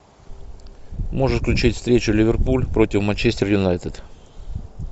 можешь включить встречу ливерпуль против манчестер юнайтед